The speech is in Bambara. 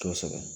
Kosɛbɛ